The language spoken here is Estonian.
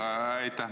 Aitäh!